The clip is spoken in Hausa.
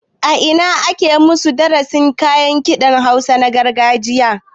A ina aka maku darasin kayan kiɗan hausa na gargajiya